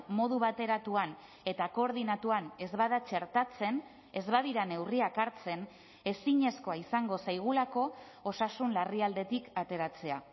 modu bateratuan eta koordinatuan ez bada txertatzen ez badira neurriak hartzen ezinezkoa izango zaigulako osasun larrialditik ateratzea